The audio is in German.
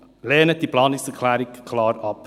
Lehnen Sie diese Planungserklärung klar ab.